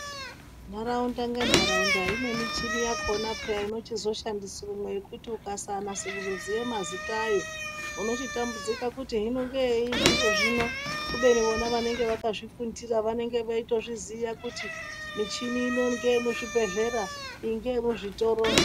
Nharaunda ngentaraunda ine michini yakhona pheya inochizoshandiswemo imwe yekuti ukasanase kuzosiye mazita ayo unochitambudzika kuti hino ngeyei zviro zvino. Kubeni vona vanenge vakazvifundira vanenge veitoziya kuti michini ino ngeyemuzvibhlera, iyi ngeyemuzvitoro.